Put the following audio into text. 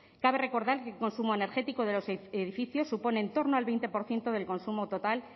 cabe recordar que el consumo energético de los edificios supone en torno al veinte por ciento del consumo total